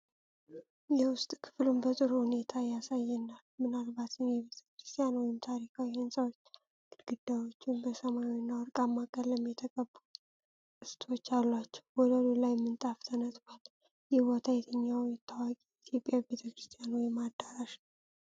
የውስጥ ክፍሉን በጥሩ ሁኔታ ያሳየናል፤ ምናልባትም የቤተ ክርስቲያን ወይም ታሪካዊ ሕንጻዎች ግድግዳዎቹ በሰማያዊና ወርቃማ ቀለም የተቀቡ ቅስቶች አሏቸው። ወለሉ ቀይ ምንጣፍ ተነጥፏል። ይህ ቦታ የትኛው ታዋቂ የኢትዮጵያ ቤተ ክርስቲያን ወይም አዳራሽ ነው?